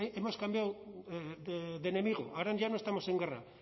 hemos cambiado de enemigo ahora ya no estamos en guerra